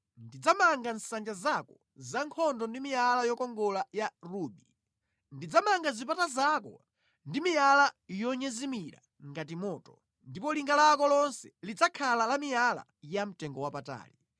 Ndidzamanga nsanja zako zankhondo ndi miyala yokongola ya rubi. Ndidzamanga zipata zako ndi miyala yonyezimira ngati moto, ndipo linga lako lonse lidzakhala la miyala yamtengowapatali.